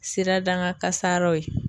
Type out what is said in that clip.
Sirada gan kasaraw ye